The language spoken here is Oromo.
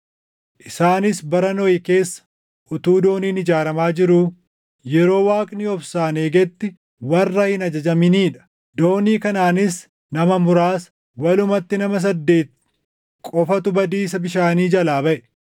isaanis bara Nohi keessa utuu dooniin ijaaramaa jiruu, yeroo Waaqni obsaan eegetti warra hin ajajaminii dha. Doonii kanaanis nama muraasa, walumatti nama saddeeti qofatu badiisa bishaanii jalaa baʼe;